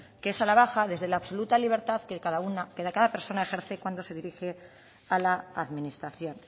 que es a la baja desde la absoluta libertad que de cada persona ejerce cuando se dirige a la administración